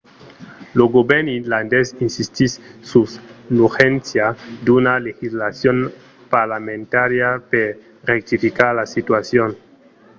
lo govèrn irlandés insistís sus l'urgéncia d'una legislacion parlamentària per rectificar la situacion